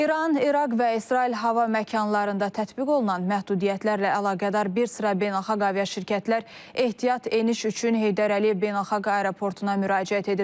İran, İraq və İsrail hava məkanlarında tətbiq olunan məhdudiyyətlərlə əlaqədar bir sıra beynəlxalq aviaşirkətlər ehtiyat eniş üçün Heydər Əliyev Beynəlxalq Aeroportuna müraciət ediblər.